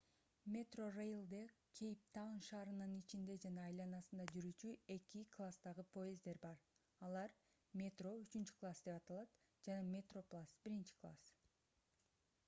metrorail'де кейптаун шаарынын ичинде жана айланасында жүрүүчү эки класстагы поезддер бар алар: metro үчүнчү класс деп аталат жана metroplus биринчи класс